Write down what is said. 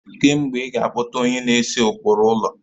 Kee mgbe ị ga akpọ onye na-ese ụkpụrụ ụlọ?